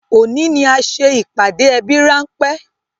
Òní ni a ṣe ìpàdé ẹbí ránpẹ́